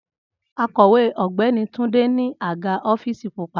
Akowe Ọgbẹni Tunde ni aga ọfiisi pupa